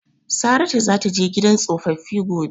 Saratu zata je gidan tsofaffi gobe.